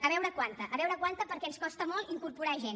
a veure quanta a veure quanta perquè ens costa molt incorporar gent